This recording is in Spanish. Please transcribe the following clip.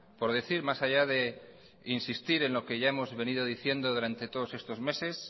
por decir más allá de insistir en lo que ya hemos venido diciendo durante todos estos meses